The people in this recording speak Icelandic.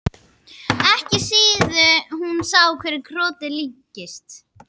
Ekki síðan hún sá hverju krotið líktist.